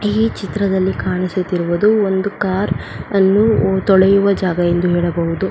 ಈ ಚಿತ್ರದಲ್ಲಿ ಕಾಣಿಸುತ್ತಿರುವುದು ಒಂದು ಕಾರ್ ಅನ್ನು ತೊಳೆಯುವ ಜಾಗ ಎಂದು ಹೇಳಬಹುದು.